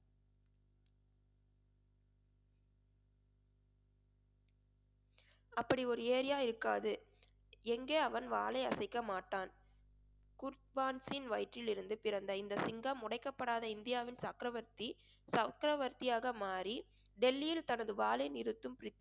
அப்படி ஒரு இருக்காது எங்கே அவன் வாளை அசைக்க மாட்டான். குர்த்வான்சின் வயிற்றிலிருந்து பிறந்த இந்த சிங்கம் உடைக்கப்படாத இந்தியாவின் சக்கரவர்த்தி சக்கரவர்த்தியாக மாறி டெல்லியில் தனது வாளை நிறுத்தும்